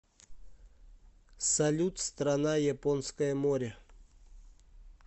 салют страна японское море